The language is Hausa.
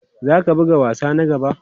Za ka buga wasa na gaba?